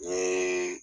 N ye